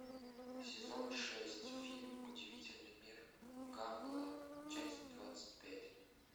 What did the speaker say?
сезон шесть фильм удивительный мир гамбола часть двадцать пять